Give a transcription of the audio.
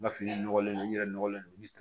N ka fini nɔgɔlen don n yɛrɛ nɔgɔlen don